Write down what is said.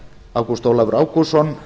ágúst ólafur ágústsson